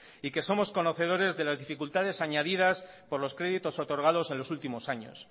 y que somos conocedores de las dificultades añadidas por los créditos otorgados en los últimos años